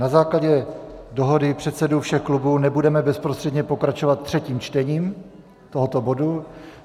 Na základě dohody předsedů všech klubů nebudeme bezprostředně pokračovat třetím čtením tohoto bodu.